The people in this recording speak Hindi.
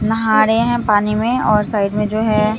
नहा रहे हैं पानी में और साइड में जो है।